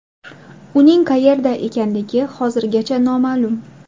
Uning qayerda ekanligi hozirgacha noma’lum.